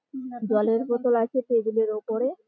জলের বোতল আছে টেবিল -এর ওপরে।